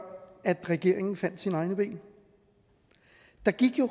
regeringen fandt sine egne ben der gik